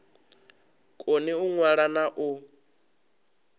koni u ṅwala na u